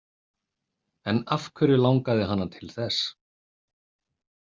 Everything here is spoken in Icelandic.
En af hverju langaði hana til þess?